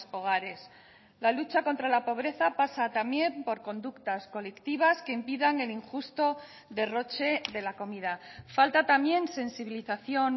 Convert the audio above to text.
hogares la lucha contra la pobreza pasa también por conductas colectivas que impidan el injusto derroche de la comida falta también sensibilización